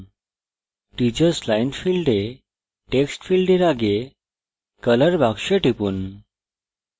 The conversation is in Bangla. teachers line ফীল্ডে text ফীল্ডের আগে color box টিপুন